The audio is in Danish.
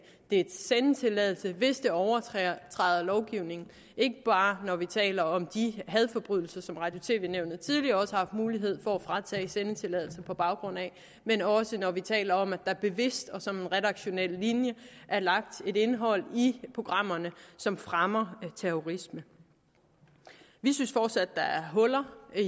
dets sendetilladelse hvis det overtræder lovgivningen ikke bare når vi taler om de hadforbrydelser som radio og tv nævnet tidligere også har haft mulighed for at fratage sendetilladelser på baggrund af men også når vi taler om at der bevidst og som redaktionel linje er lagt et indhold i programmerne som fremmer terrorisme vi synes fortsat der er huller